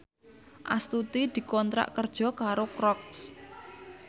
Astuti dikontrak kerja karo Crocs